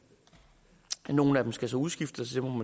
nogle af dem skal så udskiftes